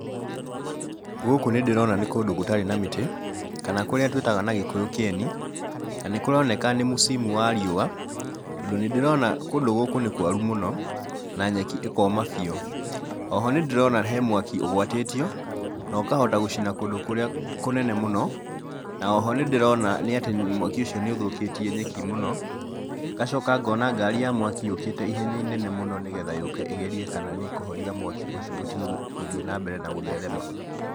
Gũkũ nĩ ndĩrona nĩ kũndũ gũtarĩ na mĩtĩ, kana kũrĩa tũĩtaga na Gĩkũyũ kĩeni, na nĩ kũroneka nĩ musimu wa riũa, tondũ nĩ ndĩrona kũndũ gũkũ nĩ kwaru mũno, na nyeki ĩkoma biũ. Oho nĩ ndĩrona he mwaki ũgwatĩtio, na ũkahota gũcina kũndũ kũrĩa kũnene mũno, na oho nĩ ndĩrona nĩ atĩ mwaki ũcio nĩ ũthũkĩtie nyeki mũno. Ngacoka ngona ngari ya mwaki yũkĩte ihenya inene mũno nĩgetha yũke ĩgerie kana nĩ ĩkũhoria mwaki ũcio ũtige gũthiĩ na mbere na gũtherema.